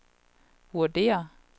vurderer